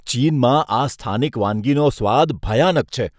ચીનમાં આ સ્થાનિક વાનગીનો સ્વાદ ભયાનક છે.